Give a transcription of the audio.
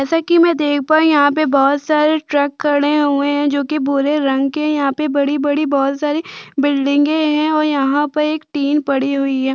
जैसा कि मैं देख पायी यहाँ पे बोहोत सारे ट्रक खड़े हुए है जोकि भुरे रंग के है यहाँ पे बड़ी -बड़ी बोहोत सारी बिल्डिंगे है और यहाँ पे एक टिन पड़ी हुई हैं।